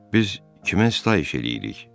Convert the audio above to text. Biz kimə sitayiş eləyirik?